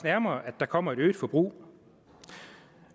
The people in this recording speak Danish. nærmere at der kommer et øget forbrug